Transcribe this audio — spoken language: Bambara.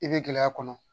I bɛ gɛlɛya kɔnɔ